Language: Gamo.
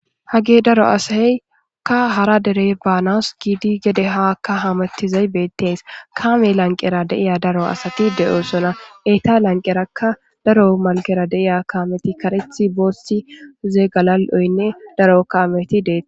hage daro asaeyka hara derey baanas giidi gede haakka hamettizay beettees kaame lanqera deiya daro asati de7osona eyta lanqerakka daro malkera deiya kaameti karethi boossi uzee galal7oynne daro kaameti deet